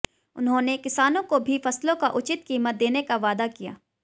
उन्होंने किसानों को भी फसलों का उचित कीमत देने का वादा किया